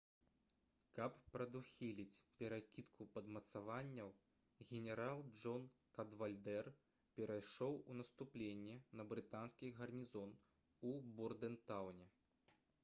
каб прадухіліць перакідку падмацаванняў генерал джон кадвальдэр перайшоў у наступленне на брытанскі гарнізон у бордэнтаўне